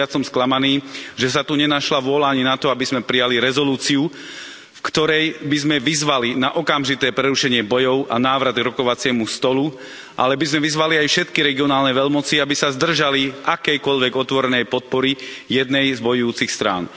O to viac som sklamaný, že sa tu nenašla vôľa ani na to, aby sme prijali rezolúciu, v ktorej by sme vyzvali na okamžité prerušenie bojov a návrat k rokovaciemu stolu, v ktorej by sme však vyzvali aj všetky regionálne veľmoci, aby sa zdržali akejkoľvek otvorenej podpory jednej z bojujúcich strán.